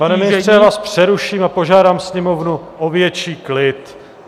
Pane ministře, já vás přeruším a požádám sněmovnu o větší klid.